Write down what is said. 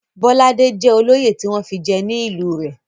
Bọ́ládé jẹ́ olóyè tí wọ́n fi jẹ ní ìlú rẹ̀.